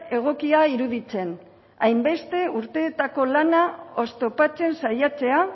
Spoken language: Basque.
egokia iruditzen hainbeste urteetako lana oztopatzen saiatzea